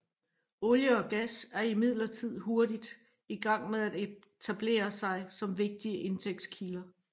Olie og gas er imidlertid hurtigt i gang med at etablere sig som vigtigste indtægtskilde